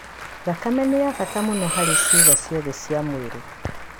Thakame nĩ ya bata mũno harĩ ciĩga ciothe cia mwĩrĩ.